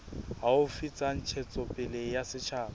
haufi tsa ntshetsopele ya setjhaba